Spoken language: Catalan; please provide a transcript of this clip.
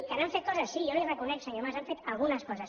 que han fet coses sí jo li ho reconec senyor mas han fet algunes coses